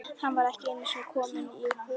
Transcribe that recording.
Hann var ekki einusinni kominn í Húnaver.